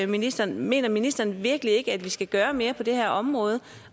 ministeren mener ministeren virkelig ikke at vi skal gøre mere på det her område